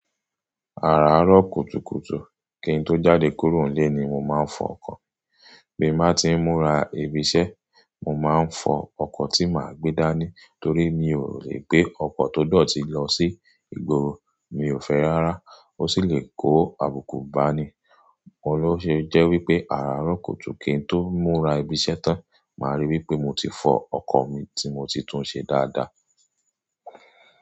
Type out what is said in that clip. Àràárọ̀ kùtùkùtù kín tó jáde kúrò nílé ni mo máa ń fọ ọkọ̀. Bí máa ti ń múra ibi iṣẹ́, mo máa ń fọ ọkọ̀ tí màá gbé dání torí mi ò lè gbé ọkọ̀ tó dọ̀tí lọ sí ìgboro, mi ò fẹ́ rárá. Ó sì lè kó àbùkù bá ni. Oun lóṣe jẹ́ wípé àràárọ̀ kùtù kín tó múra ibi iṣẹ́ tán, màá rí wípé mo ti fọ ọkọ̀ mi tí mo ti tún un ṣe dáadáa.